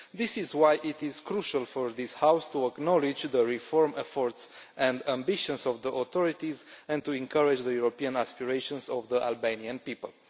This is why it is crucial for this House to acknowledge the reform efforts and ambitions of the authorities and to encourage the European aspirations of the Albanian people.